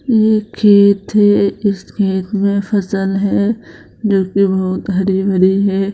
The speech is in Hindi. ये खेत हैं इस खेत में फसल हैं जो कि बहोत हरी-भरी हैं।